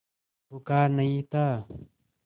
बुखार नहीं था